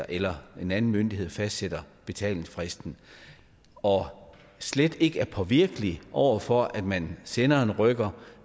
eller en anden myndighed ensidigt fastsætter betalingsfristen og slet ikke er påvirkelig over for at man sender en rykker